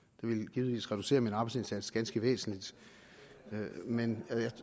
ville givetvis reducere min arbejdsindsats ganske væsentligt men